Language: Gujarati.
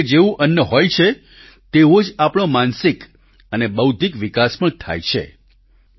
એટલે કે જેવું અન્ન હોય છે તેવો જ આપણો માનસિક અને બૌદ્ધિક વિકાસ પણ થાય છે